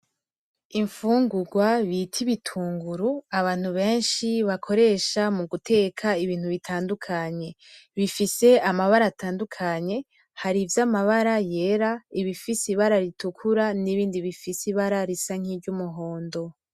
Imfungugwa bita ibitunguru abantu benshi bakoresha mu guteka ibintu bitandukanye bifise amabara atandukanye hari ivy’amabara yera ibifise ibara ritukura n’ibindi bifise ibara ry’umuhondo.